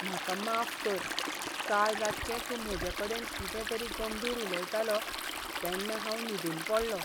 म्हाका माफ कर, काल रातचें तूं म्हजे कडेन कितें तरी गंभीर उलयतालो तेन्ना हांव न्हिदून पडलों.